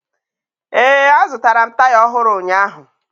Ee, azụtara m taya ọhụrụ ụnyaahụ